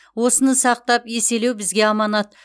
осыны сақтап еселеу бізге аманат